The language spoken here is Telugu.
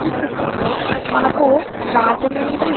ఈ చిత్రం లో మనకి రాజమండ్రి --